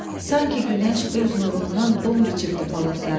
Sanki günəş öz nurundan don biçibdir palıtlara.